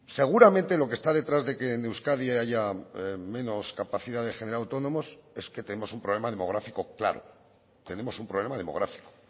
seguramente lo que está detrás de que en euskadi haya menos capacidad de generar autónomos es que tenemos un problema demográfico claro tenemos un problema demográfico